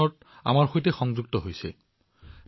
প্ৰীতিজীয়ে আমাৰ সৈতে মন কী বাতত যোগদান কৰিছে